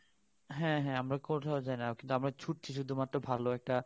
হ্যাঁ আমরা কোথাও কিন্তু আমরা ছুটছি শুধু মাত্র ভাল একটা